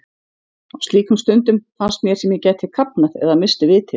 Á slíkum stundum fannst mér sem ég gæti kafnað eða misst vitið.